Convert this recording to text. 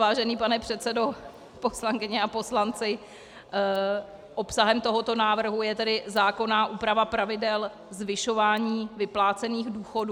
Vážený pane předsedo, poslankyně a poslanci, obsahem tohoto návrhu je tedy zákonná úprava pravidel zvyšování vyplácených důchodů.